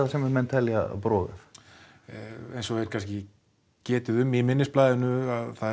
sem menn telja brogað eins og er kannski getið um í minnisblaðinu